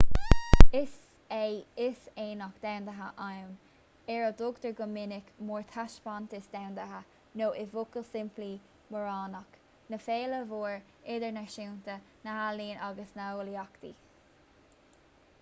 is é is aonach domhanda ann ar a dtugtar go minic mórthaispeántas domhanda nó i bhfocal simplí móraonach ná féile mhór idirnáisiúnta na n-ealaíon agus na n-eolaíochtaí